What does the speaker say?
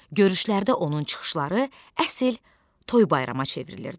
Görüşlərdə onun çıxışları əsl toy bayrama çevrilirdi.